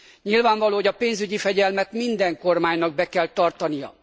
Nyilvánvaló, hogy a pénzügyi fegyelmet minden kormánynak be kell tartania.